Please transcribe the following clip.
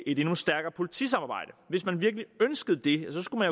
et endnu stærkere politisamarbejde hvis man virkelig ønskede det så skulle